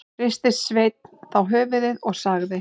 Hristi Sveinn þá höfuðið og sagði: